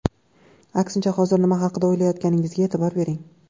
Aksincha, hozir nima haqida o‘ylayotganingizga e’tibor bering.